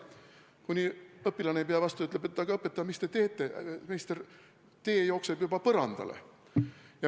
Lõpuks ei pea õpilane enam vastu ja ütleb, et õpetaja, meister, mis te teete, tee jookseb juba põrandale.